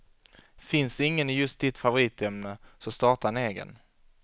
Finns ingen i just ditt favoritämne så starta en egen.